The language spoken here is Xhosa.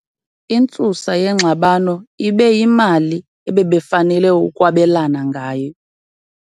Intsusa yengxabano ibe yimali ebebefanele ukwabelana ngayo.